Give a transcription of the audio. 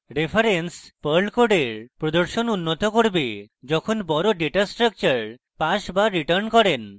reference perl code প্রদর্শন উন্নত করবে যখন বড় dataস্ট্রাকচার pass বা return করেন